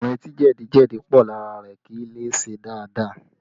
Ọkùnrin tí jẹ̀díjẹ̀dí pọ̀ lára rẹ kì í lè ṣe dáadáa